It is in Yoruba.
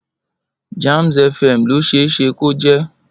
Jamz FM ló ṣe é ṣe kó jẹ́.